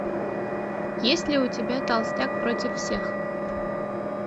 есть ли у тебя толстяк против всех